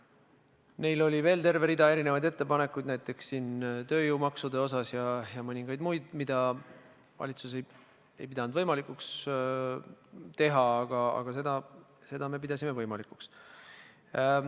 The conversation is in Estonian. Neil oli veel terve rida muid ettepanekuid, näiteks tööjõumaksude osas ja mõningaid teisi, mida valitsus ei pidanud võimalikuks arvestada, aga seda me pidasime võimalikuks.